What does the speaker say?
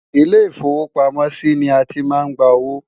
ilé ifowo pàmò sí ní àti má ń gbà owó